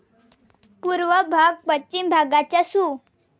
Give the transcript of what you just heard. पूर्व भाग पश्चिम भागाच्या सु.